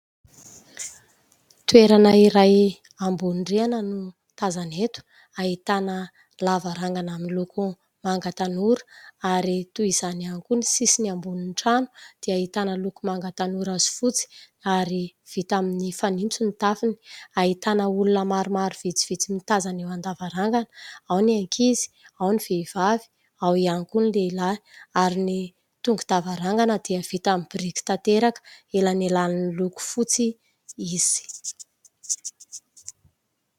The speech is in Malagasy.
Toerana iray ambony rihana no tazana eto, ahitana lavarangana miloko manga tanora ary toy izany ihany koa ny sisiny ambonin'ny trano dia ahitana loko manga tanora sy fotsy ary vita amin'ny fanitso ny tafony ; ahitana olona maromaro vitsivitsy mitazana eo an-davarangana : ao ny ankizy, ao ny vehivavy, ao ihany koa ny lehilahy ; ary ny tongo-davarangana dia vita amin'ny biriky tanteraka, elanelanin'ny loko fotsy izy.